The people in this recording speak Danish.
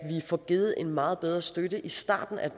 får givet en meget bedre støtte i starten af